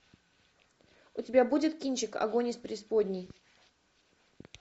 у тебя будет кинчик огонь из преисподней